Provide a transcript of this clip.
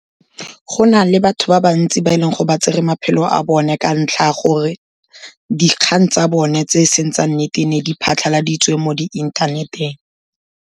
Go na le batho ba bantsi ba e leng go ba tsere maphelo a bone ka ntlha ya gore dikgang tsa bone tse e seng tsa nnete, ne di phatlhaladitswe mo di inthaneteng.